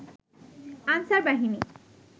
answer বাহিনী